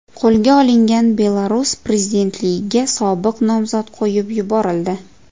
Qo‘lga olingan Belarus prezidentligiga sobiq nomzod qo‘yib yuborildi.